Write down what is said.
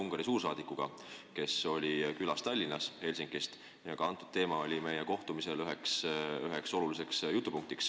Nimelt oli Tallinnas külas Ungari suursaadik Helsingist ja eelarvestrateegia oli meie kohtumise üks oluline jutupunkt.